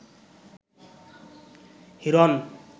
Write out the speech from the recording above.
Hiran